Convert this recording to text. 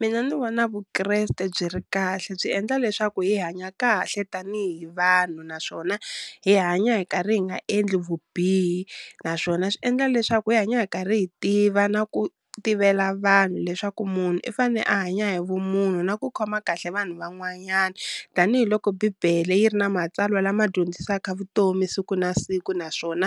Mina ndzi vona Vukreste byi ri kahle byi endla leswaku hi hanya kahle tanihi vanhu, naswona hi hanya hi karhi hi nga endli vubihi, naswona swi endla leswaku hi hanya hi karhi hi tiva na ku tivela vanhu leswaku munhu i fane a hanya hi vumunhu na ku khoma kahle vanhu van'wanyani, tanihiloko bibele yi ri na matsalwa lama dyondzisaka vutomi siku na siku, naswona